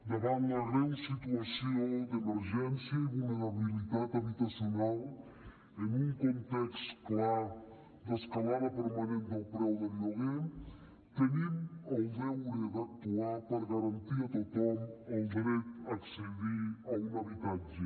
davant la greu situació d’emergència i vulnerabilitat habitacional en un context clar d’escalada permanent del preu del lloguer tenim el deure d’actuar per garantir a tothom el dret a accedir a un habitatge